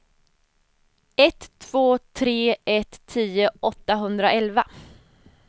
ett två tre ett tio åttahundraelva